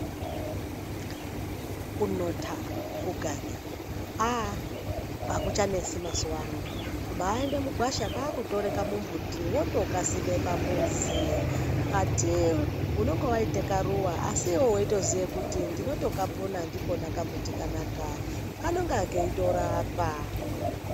Kunotha, kuganyaa aaah akuchanesi mazuwa ano. Kubaaenda mugwasha kwakutora kamumbuti wotokasima pamuzi. Kati unonga waita karuwa asi iwe weitoziya kuti ndinotokapona ndikona kambuti kanaka. Kanonga keitorapa.